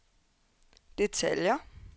detaljer